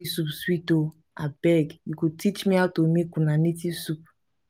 dis soup sweet oo. abeg you go teach me how to make una native soup